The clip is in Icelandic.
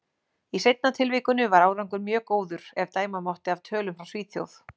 Í seinna tilvikinu var árangur mjög góður, ef dæma mátti af tölum frá Svíþjóð.